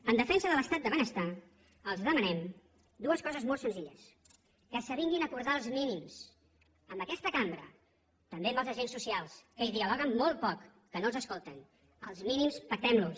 en defensa de l’estat del benestar els demanem dues coses molt senzilles que s’avinguin a acordar els mínims amb aquesta cambra i també amb els agents socials que hi dialoguen molt poc que no els escolten els mínims pactemlos